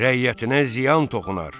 Rəiyyətinə ziyan toxunar.